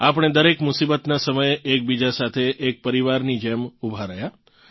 આપણે દરેક મુસીબતનાં સમયે એકબીજા સાથે એક પરિવારની જેમ ઊભાં રહ્યાં